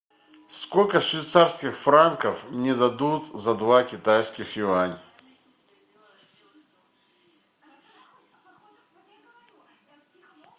сколько швейцарских франков мне дадут за два китайских юаня